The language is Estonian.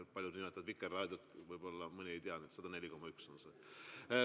Paljud nimetavad Vikerraadiot, võib-olla mõni ei tea, et 104,1 MHz.